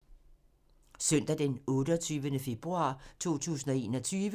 Søndag d. 28. februar 2021